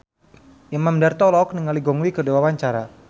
Imam Darto olohok ningali Gong Li keur diwawancara